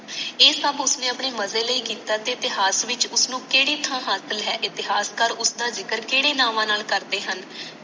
ਇਹ ਸਬ ਉਸਨੇ ਆਪਣੇ ਮਜੇ ਲਈ ਕੀਤਾ ਸੀ ਤੇ ਹੱਥ ਵਿੱਚ ਉਸਨੂੰ ਕੇਡੀ ਥਾਂ ਹਾਸਿਲ ਹੈ ਇਤਿਹਾਸਕਾਰ ਉਸਦਾ ਜਿਕਰ ਕੇਡੇ ਨਾਮਾਂ ਨਾਲ ਕਰਦੇ ਹੈ